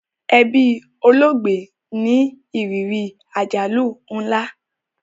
Ẹbí olóògbé ní ìrírí àjálù nla